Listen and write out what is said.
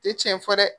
Tɛ tiɲɛ fɔ dɛ